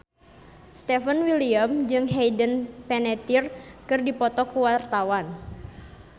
Stefan William jeung Hayden Panettiere keur dipoto ku wartawan